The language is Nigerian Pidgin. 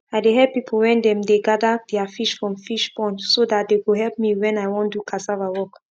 i dey help people when dem dey gather their fish from fish pond so that they go help me when i wan do cassava work